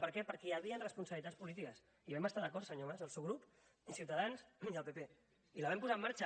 per què perquè hi havia responsabilitats polítiques i vam estar d’acord senyor mas el seu grup i ciutadans i el pp i la vam posar en marxa